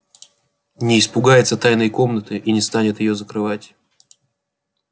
не испугается тайной комнаты и не станет её закрывать